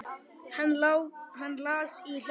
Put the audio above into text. Hann las í hljóði